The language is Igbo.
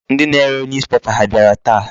Ndị na-are newspaper ha abịara taa?